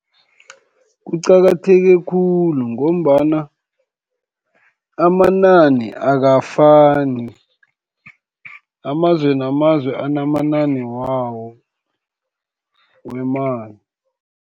Kuqakatheke khulu, ngombana amanani akafani, amazwe namazwe anamanani wawo wemali.